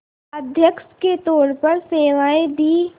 अध्यक्ष के तौर पर सेवाएं दीं